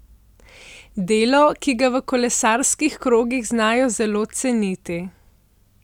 Delo, ki ga v kolesarskih krogih znajo zelo ceniti.